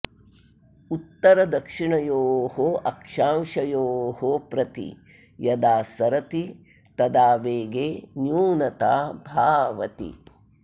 उत्तरदक्षिणयोः अक्षांशयोः प्रति यदा सरति तदा वेगे न्यूनता भावति